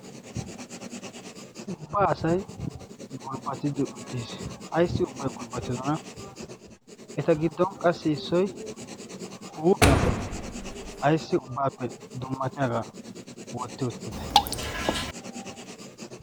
ubbaa asay gulbbatidi uttiis. aissi ubbai gulbbatidona eta giddon qassi issoi huuphiyan ayssi ubbaappe dummatiyaagaa wotti uttite?